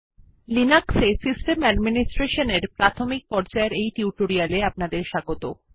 লিনাক্সে system administration এর প্রাথমিক পর্যায়ের এই টিউটোরিয়ালে আপনাদের স্বাগত